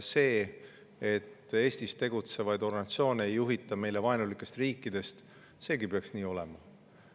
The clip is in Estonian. See, et Eestis tegutsevaid organisatsioone ei juhita meie suhtes vaenulikest riikidest, peaks ka olema.